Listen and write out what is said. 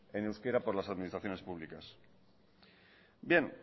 en euskera por las administraciones públicas bien